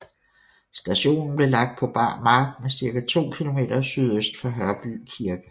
Stationen blev lagt på bar mark ca 2 km sydøst for Hørby Kirke